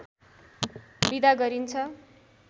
बिदा गरिन्छ